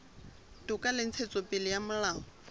toka le ntshetsopele ya molao